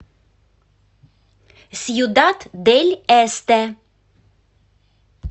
сьюдад дель эсте